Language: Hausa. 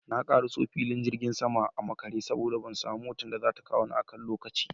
Na karaso filin jirgin sama a makare saboda ban samu motar haya da zata kawo ni a kan lokaci